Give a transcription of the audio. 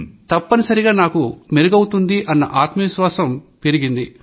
తప్పనిసరిగా నాకు మెరుగవుతుంది అన్న విశ్వాసం పెరిగింది